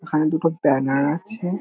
ওখানে দুটো ব্যানার আছে ।